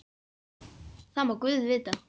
Það má guð vita.